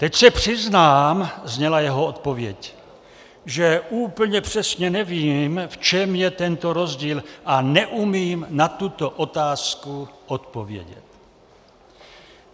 Teď se přiznám, zněla jeho odpověď, že úplně přesně nevím, v čem je tento rozdíl, a neumím na tuto otázku odpovědět.